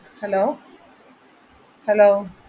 Hello hello